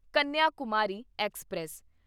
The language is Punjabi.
ਕੰਨਿਆਕੁਮਾਰੀ ਐਕਸਪ੍ਰੈਸ